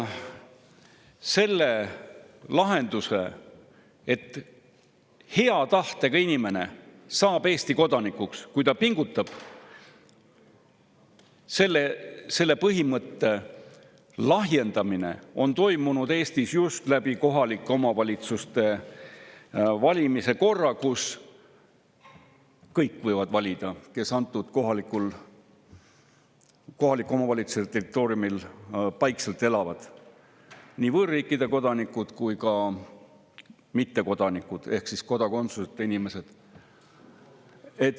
Selle lahenduse, et hea tahtega inimene saab Eesti kodanikuks, kui ta pingutab, selle põhimõtte lahjendamine on toimunud Eestis just kohaliku omavalitsuse valimise korra kaudu, kus võivad valida kõik, kes antud kohaliku omavalitsuse territooriumil paikselt elavad: nii võõrriikide kodanikud kui ka mittekodanikud ehk kodakondsuseta inimesed.